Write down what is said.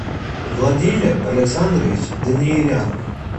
владимир александрович даниелян